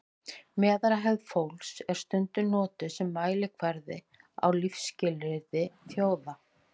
meðalhæð fólks er stundum notuð sem mælikvarði á lífsskilyrði þjóða